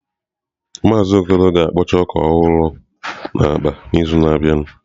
Maazị Okoro ga-akpọcha ọka ọhụrụ maka akpa n'izu na-abịa.